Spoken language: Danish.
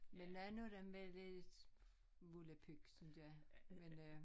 Men nogen af dem var lidt volapyk synes jeg